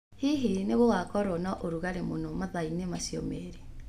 Hihi nĩ gũgakorũo na ũrugarĩ mũno mathaa-inĩ macio merĩ?